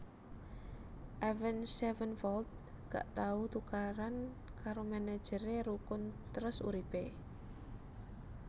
Avenged Sevenfold gak tau tukaran karo manajer e rukun terus urip e